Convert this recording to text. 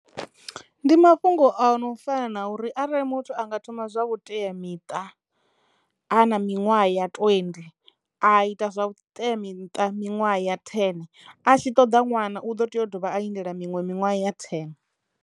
Ndi mafhungo a no fana na uri arali muthu a nga thoma zwa vhuteamiṱa a na miṅwaha ya twendi a ita zwa vhuteamiṱa miṅwaha ya thene a tshi ṱoḓa ṅwana u ḓo tea u dovha a lindela miṅwe miṅwaha ya thene.